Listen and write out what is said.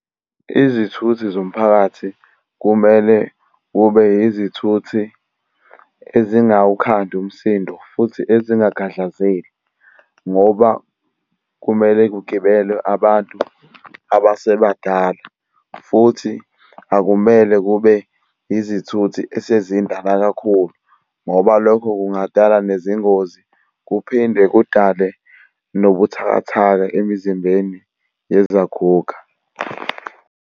Izithuthi zomphakathi kumele kube yizithuthi ezingawukhandi umsindo futhi ezingakhahlazeki, ngoba kumele kugibele abantu abasebadala, futhi akumele kube izithuthi esezindala kakhulu, ngoba lokho kungadala nezingozi kuphinde kudale nobuthakathaka emizimbeni yezaguga.